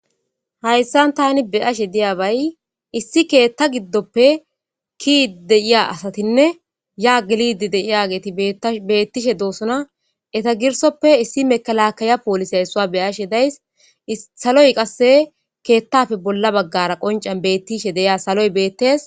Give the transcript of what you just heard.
Hayisani tan beashe diyabay issi keththa giddoppe keidi deiya asatinne ya gelide deiyget betishe deosoona eyitappe issoy mekelakeya polise issue beashe dayis saloy qase keeththappe bola baggara qonicera betiya saloy betees